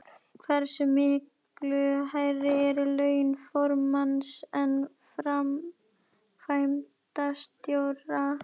Hversu miklu hærri eru laun formanns en framkvæmdastjóra?